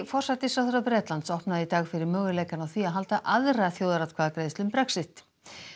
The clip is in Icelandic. forsætisráðherra Bretlands opnaði í dag fyrir möguleikann á því að halda aðra þjóðaratkvæðagreiðslu um Brexit